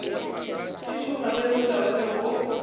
di šoma ge molaotheo wo